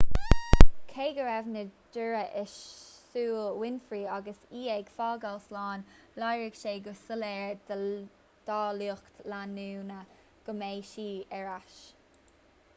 cé go raibh na deora i súile winfrey agus í ag fágáil slán léirigh sé go soiléir dá lucht leanúna go mbeidh sí ar ais